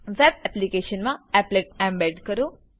web application મા applet embed કરો